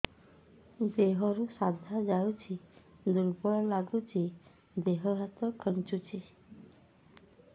ଦେହରୁ ସାଧା ଯାଉଚି ଦୁର୍ବଳ ଲାଗୁଚି ଦେହ ହାତ ଖାନ୍ଚୁଚି